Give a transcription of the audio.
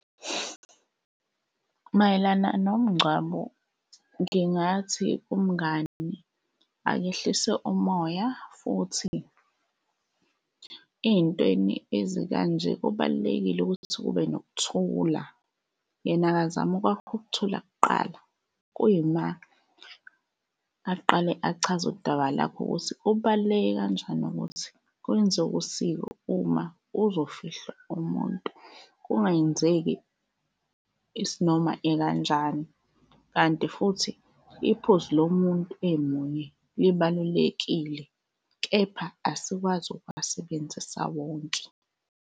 Mayelana nomngcwabo, ngingathi kumngani akehlise umoya futhi ey'ntweni ezikanje kubalulekile ukuthi kube nokuthula, yena akazama ukwakha ukuthula kuqala kuyima aqale achaze udaba lakhe ukuthi kubaluleke kanjani ukuthi kwenziwe usiko uma kuzofihlwa umuntu, kungenzeki isinoma ikanjani. Kanti futhi iphuzu lomuntu emunye libalulekile, kepha asikwazi ukuwasebenzisa wonke.